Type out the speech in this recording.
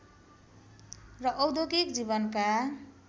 र औद्योगिक जीवनका